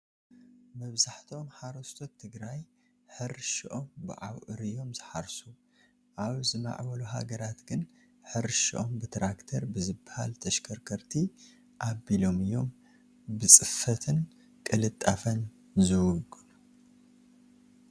መብዛሕትኦም ሓረስቶስ ትግራይ ሕርሽኦም ብኣብዑር እዮም ዝሓርሱ፡፡ ኣብ ዝማዕበሉ ሃገራት ግን ሕርሽኦም ትራክተር ብዝበሃላ ተሸከርከርቲ ኣቢሎም እዮም ብፅፈትን ቅልጣፈን ዝውግኑ፡፡